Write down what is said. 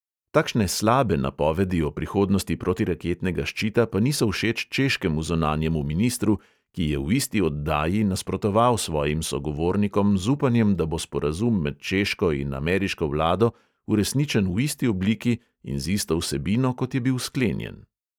Takšne "slabe" napovedi o prihodnosti protiraketnega ščita pa niso všeč češkemu zunanjemu ministru, ki je v isti oddaji nasprotoval svojim sogovornikom z upanjem, da bo sporazum med češko in ameriško vlado uresničen v isti obliki in z isto vsebino, kot je bil sklenjen.